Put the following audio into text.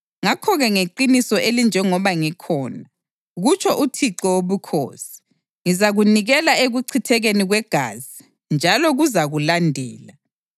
ngakho-ke ngeqiniso elinjengoba ngikhona, kutsho uThixo Wobukhosi, ngizakunikela ekuchithekeni kwegazi njalo kuzakulandela.